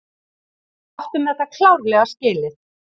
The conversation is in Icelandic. Við áttum þetta klárlega skilið.